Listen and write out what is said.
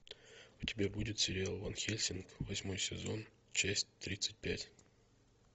у тебя будет сериал ван хельсинг восьмой сезон часть тридцать пять